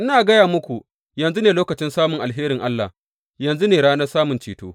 Ina gaya muku, yanzu ne lokacin samun alherin Allah, yanzu ne ranar samun ceto.